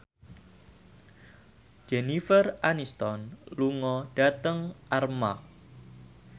Jennifer Aniston lunga dhateng Armargh